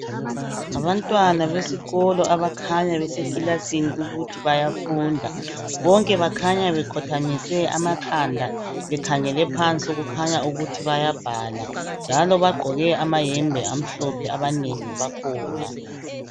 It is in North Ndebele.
Ngabantwana besikolo, abakhanya besekilasini, ukuthi bayafunda. Bonke bakhanya bekhothamise amakhanda. Bekhangele phansi, kukhanya ukuthi bayabhala, njalo bagqoke amayembe amhlophe, abanengi bakhona.